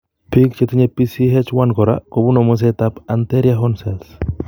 Biik chetinye PCH1 kora kobune muset ab anterior horn cells